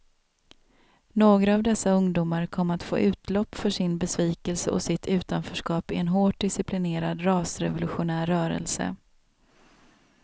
Några av dessa ungdomar kom att få utlopp för sin besvikelse och sitt utanförskap i en hårt disciplinerad rasrevolutionär rörelse.